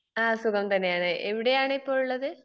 ആ സുഖം തന്നെയാണ്. എവിടെയാണ് ഇപ്പൊ ഉള്ളത്?